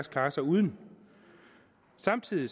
klarer sig uden samtidig